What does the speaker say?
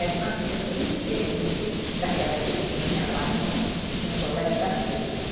Era uma vida bem diferente daquela que eu tinha lá no no colégio das freiras.